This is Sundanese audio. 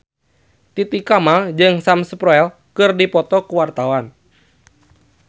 Titi Kamal jeung Sam Spruell keur dipoto ku wartawan